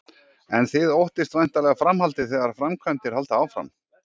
En þið óttist væntanlega framhaldið þegar framkvæmdir halda áfram?